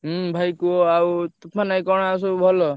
ହୁଁ ଭାଇ କୁହ ତୁଫାନଭାଇ ଆଉ ମାନେ କଣ ଆଉ ସବୁ ଭଲ?